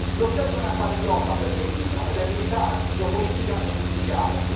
L'occasione appare ghiotta per Berlino, ed è militare, geopolitica e industriale.